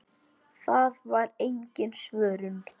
Það var engin svörun.